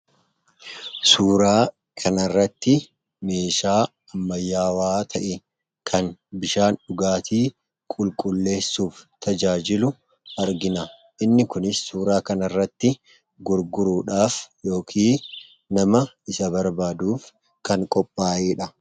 Suuraa kana irratti meeshaa ammayyawaa ta'e kan bishaan dhugaatii qulqulleessuuf tajaajilu argina. Inni kunis suuraa kana irratti gurguruudhaaf yookiin nama isa barbaaduuf kan qophaa'eedha.